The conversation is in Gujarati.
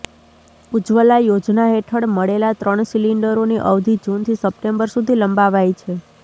ઉજ્જવલા યોજના હેઠળ મળેલા ત્રણ સિલિન્ડરોની અવધિ જૂનથી સપ્ટેમ્બર સુધી લંબાવાઈ છે